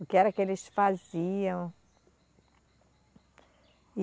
O que era que eles faziam.